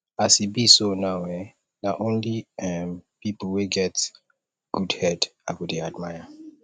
as e be so now eh na only um pipu wey get good head i go dey admire